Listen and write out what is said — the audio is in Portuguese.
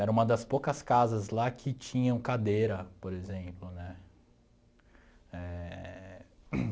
Era uma das poucas casas lá que tinham cadeira, por exemplo, né? Éh...